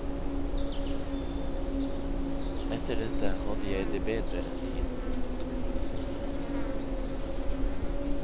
Etter dette hadde jeg det bedre en tid.